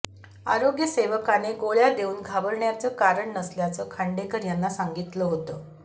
आरोग्य सेवकाने गोळ्या देऊन घाबरण्याचं कारण नसल्याचं खांडेकर यांना सांगितलं होते